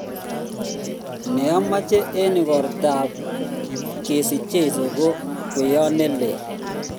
ne amache eng igrota ab kesich jeiso ko kweyot ne leel